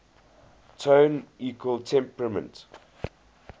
tone equal temperament